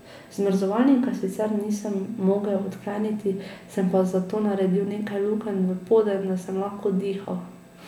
Zamrzovalnika sicer nisem mogel odkleniti, sem pa zato naredil nekaj lukenj v poden, da sem lahko dihal.